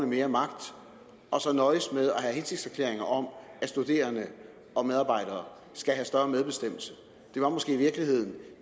mere magt og så nøjes med at have hensigtserklæringer om at studerende og medarbejdere skal have større medbestemmelse det var måske i virkeligheden